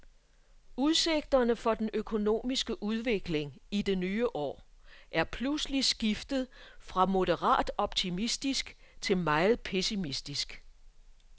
Udsigterne for den økonomiske udvikling i det nye år er pludselig skiftet fra moderat optimistisk til meget pessimistisk.